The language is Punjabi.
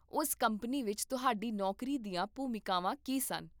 ਉਸ ਕੰਪਨੀ ਵਿੱਚ ਤੁਹਾਡੀ ਨੌਕਰੀ ਦੀਆਂ ਭੂਮਿਕਾਵਾਂ ਕੀ ਸਨ?